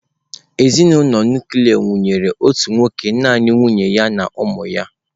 Ezinụlọ nuklia nwere otu nwoke naanị nwunye ya na ụmụ ya.